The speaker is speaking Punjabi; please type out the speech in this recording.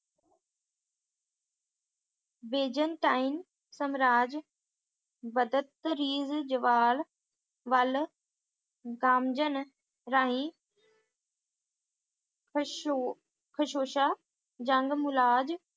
ਬੇਜੇਨਤਾਈਂ ਸਮਰਾਜ ਬਦਤਰੀਜ਼ ਜਵਾਲ ਵੱਲ ਗੰਜਨ ਰਾਹੀਂ ਕੁਸਹੋ`ਕੁਸਹੋਸ਼ਾ ਜੰਗ ਮੁਲਾਜ਼